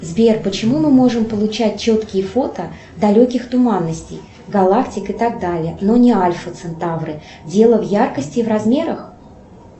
сбер почему мы можем получать четкие фото далеких туманностей галактик и так далее но не альфа центавры дело в яркости и размерах